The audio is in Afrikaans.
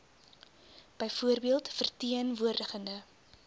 byvoorbeeld verteen woordigende